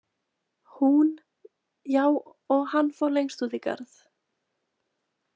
Hún: Já, og hann fór lengst út í garð.